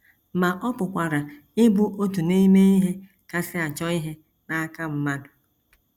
Ma ọ pụkwara ịbụ otu n’ime ihe kasị achọ ihe n’aka mmadụ.